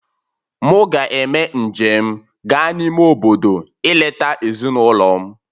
Mụ ga-eme njem gaa n'ime obodo ileta ezinụlọ m